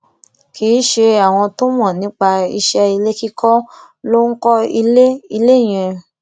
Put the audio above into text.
kì í ṣe àwọn tó mọ nípa iṣẹ ilé kíkọ ló ń kọ ilé ilé yẹn